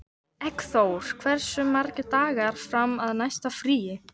Eggþór, hversu margir dagar fram að næsta fríi?